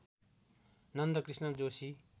Nandakrishna Joshi